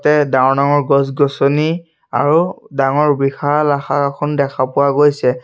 ইয়াত ডাঙৰ ডাঙৰ গছ-গছনি আৰু ডাঙৰ বিশাল আশাৰ এখন দেখা পোৱা গৈছে।